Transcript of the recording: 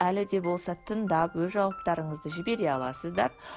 әлі де болса тыңдап өз жауаптарыңызды жібере аласыздар